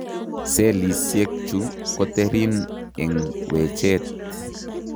Cellisiek chu koterin eng' wecheet